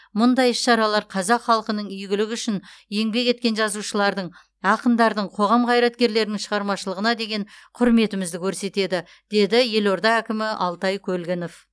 мұндай іс шаралар қазақ халқының игілігі үшін еңбек еткен жазушылардың ақындардың қоғам қайраткерлерінің шығармашылығына деген құрметімізді көрсетеді деді елорда әкімі алтай көлгінов